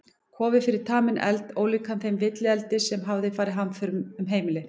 Kofi fyrir taminn eld, ólíkan þeim villieldi sem hafði farið hamförum um heimilið.